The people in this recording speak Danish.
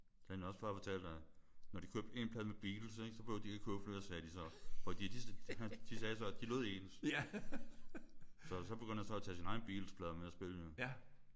Så har han også bare fortalt at når de købte én plade med Beatles ik? Så behøvede de ikke købe flere sagde de så. Fordi de de sagde så at de lød ens. Så begyndte han at tage sine egne Beatles-plader med og at spille dem